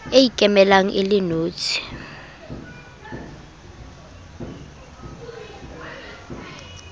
e ikemelang e le notshi